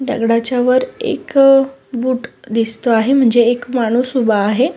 दगडाच्या वर एक अ दिसतो आहे म्हणजे एक माणूस उभा आहे.